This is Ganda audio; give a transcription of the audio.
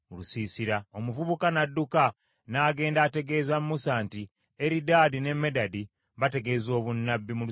Omuvubuka n’adduka n’agenda ategeeza Musa nti, “Eridaadi ne Medadi bategeeza obunnabbi mu lusiisira.”